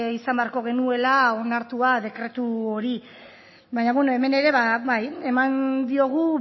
izan behako genuela onartua dekretu hori baina bueno hemen ere bai eman diogu